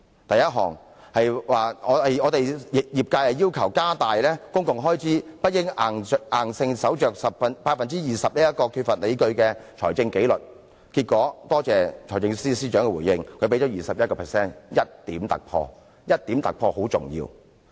第一項，業界要求加大公共開支，不應硬守着 20% 這個缺乏理據的財政紀律，結果我感謝財政司司長的回應，他給予 21%， 有 1% 的突破，這 1% 的突破甚為重要。